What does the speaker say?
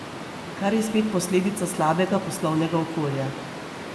Kar je spet posledica slabega poslovnega okolja.